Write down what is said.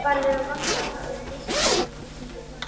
Farvegum vatnsfalla verður lýst nánar með lýsingu framburðar.